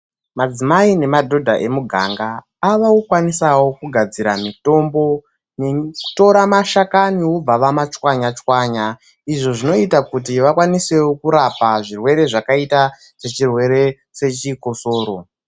Madzimai nemadhodha emunganga avakukwanisawo kugadzira mitombo nekutora mashakani vobva vama tshwanya tshwanya izvo zvinoita kuti vakwanisewo kurapa zvirwere zvakaita sechirwere chechikosoro.